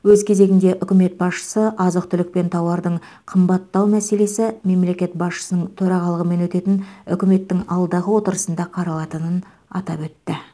өз кезегінде үкімет басшысы азық түлік пен тауардың қымбаттау мәселесі мемлекет басшысының төрағалымен өтетін үкіметтің алдағы отырысында қаралатынын атап өтті